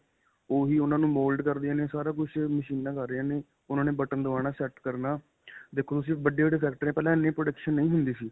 ਓਹੀ ਉਨ੍ਹਾਂ ਨੂੰ mold ਕਰਦੀਆਂ ਨੇ ਸਾਰਾ ਕੁਝ ਮਸ਼ੀਨਾ ਕਰ ਰਹੀਆਂ ਨੇ ਉਨ੍ਹਾਂ ਨੇ ਬਟਨ ਦਬਾਨਾ set ਕਰਨਾ ਦੇਖੋ ਤੁਸੀਂ ਵੱਡਿਆਂ-ਵੱਡਿਆਂ ਫੈਕਟਰੀਆਂ ਪਹਿਲਾਂ ਇੰਨੀ production ਨਹੀਂ ਹੁੰਦੀ ਸੀ .